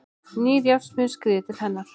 Nýr járnsmiður skríður til hennar.